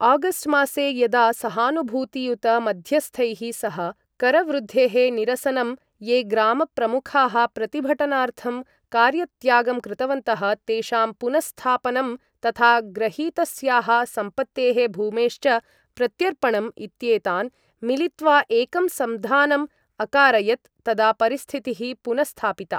August मासे यदा सहानुभूतियुत मध्यस्थैः, सः, करवृद्धेः निरसनं, ये ग्रामप्रमुखाः प्रतिभटनार्थं कार्यत्यागं कृतवन्तः तेषां पुनस्स्थापनं, तथा ग्रहीतस्याः सम्पत्तेः भूमेश्च प्रत्यर्पणम् इत्येतान् मिलित्वा एकं सन्धानम् अकारयत् तदा परिस्थितिः पुनस्स्थापिता।